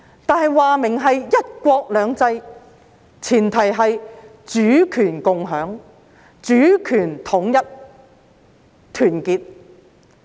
但是，明言是"一國兩制"，前提是主權共享、主權統一和團結。